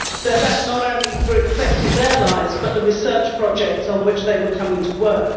That not only affected their lives, but the research projects on which they were coming to work.